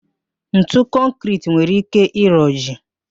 Ntu kọnkịriti nwere ike ịroji